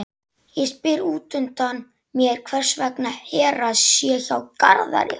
Ég spyr útundan mér hvers vegna Hera sé hjá Garðari.